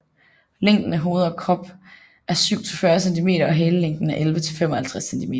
Længden af hoved og krop er 7 til 40 centimeter og halelængden er 11 til 55 centimeter